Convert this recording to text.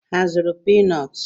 Ha azụrụ pii nọọtụ?